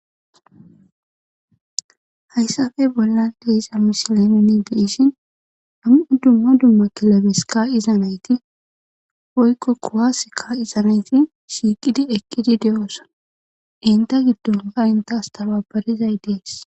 Hayssafe bollan deisa mishileneni diishin ham'u dumma dumma kilabes ka izanayti woykko kuwas ka izanayti shiiqidi eqqidi de7oosona inta giddonka intaas tababarizay dees.